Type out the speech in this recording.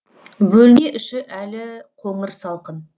бөлме іші әлі қоңыр салқын